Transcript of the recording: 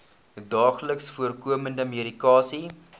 daagliks voorkomende medikasie